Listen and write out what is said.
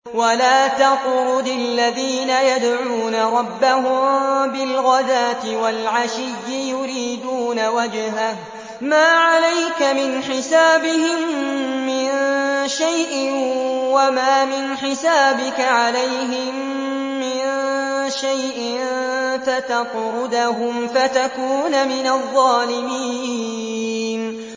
وَلَا تَطْرُدِ الَّذِينَ يَدْعُونَ رَبَّهُم بِالْغَدَاةِ وَالْعَشِيِّ يُرِيدُونَ وَجْهَهُ ۖ مَا عَلَيْكَ مِنْ حِسَابِهِم مِّن شَيْءٍ وَمَا مِنْ حِسَابِكَ عَلَيْهِم مِّن شَيْءٍ فَتَطْرُدَهُمْ فَتَكُونَ مِنَ الظَّالِمِينَ